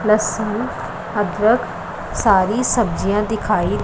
लहसुन अदरक सारी सब्जियां दिखाई--